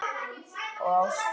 Og ástin.